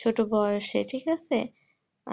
ছোট বয়েসে ঠিক আছে